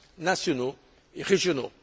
nationaux et régionaux.